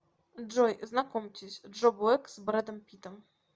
джой знакомьтесь джо блэк с бредом питтом